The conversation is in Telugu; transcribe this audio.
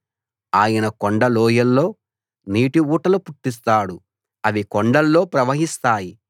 ఆయన కొండలోయల్లో నీటిఊటలు పుట్టిస్తాడు అవి కొండల్లో ప్రవహిస్తాయి